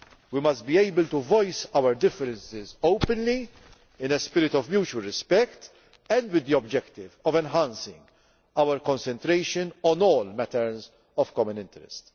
We must be able to voice our differences openly, in a spirit of mutual respect, and with the objective of enhancing our concentration on all matters of common interest.